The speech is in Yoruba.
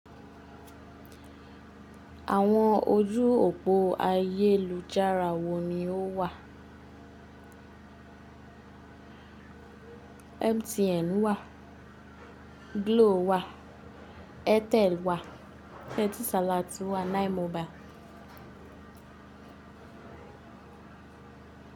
Àwọn ojú òpó ayélujára wo ni ó wà? MTN wà, Glo wà, Airtel wà, Etisalat wà, 9mobile.